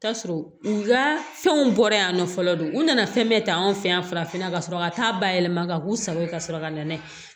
Taa sɔrɔ u ka fɛnw bɔra yan nɔ fɔlɔ don u nana fɛn bɛɛ ta an fɛ yan farafinna ka sɔrɔ ka taa ba yɛlɛma ka k'u sago ye ka sɔrɔ ka na n'a ye